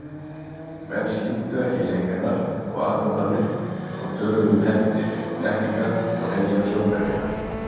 Menn skildu ekki leik hennar og aðdróttanir og töluðu um hefndir, blekkingar og hreinlega sjónhverfingar.